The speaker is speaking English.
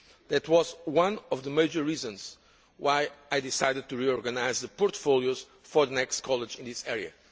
That was one of the major reasons why I decided to reorganise the portfolios of the next College in this area.